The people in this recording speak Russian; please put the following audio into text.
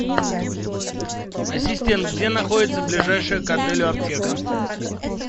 ассистент где находится ближайшая к отелю аптека